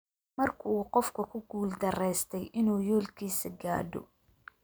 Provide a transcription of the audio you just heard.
Marka uu qofku ku guul-darraystay inuu yoolkiisa gaadho.